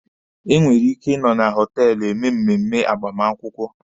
E nwere ike ị nọ na họtelụ eme mmemme agbamakwụkwọ.